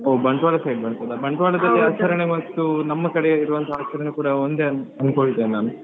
ಹೊ Bantwal side ಬರ್ತದ. Bantwal ದಲ್ಲಿ ಆಚರಣೆ ಮತ್ತು ನಮ್ಮ ಕಡೆ ಇರುವಂತಹ ಆಚರಣೆ ಕೂಡ ಒಂದೇ ಅನ್~ ಅನ್ಕೊಳ್ತೇನೆ ನಾನು.